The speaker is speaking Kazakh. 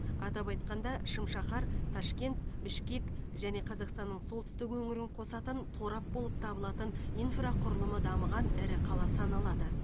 атап айтқанда шым шаһар ташкент бішкек және қазақстанның солтүстік өңірін қосатын торап болып табылатын инфрақұрылымы дамыған ірі қала саналады